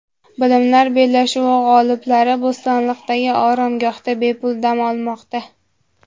Bilimlar bellashuvi g‘oliblari Bo‘stonliqdagi oromgohda bepul dam olmoqda.